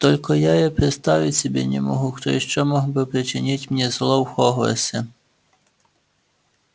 только я представить себе не могу кто ещё мог бы причинить мне зло в хогвартсе